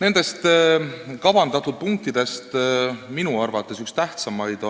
Nendest kavandatud punktidest on minu arvates üks tähtsamaid